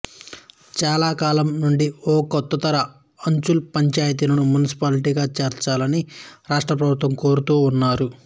చాలాకాలం నుండి కోఓత్తకర అంచల్ పంచాయితీలను మునిసిపాలిటీలుగా మార్చాలని రాష్ట్రప్రభుత్వాన్ని కోరుతూ ఉన్నారు